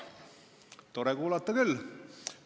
Tore kuulata küll!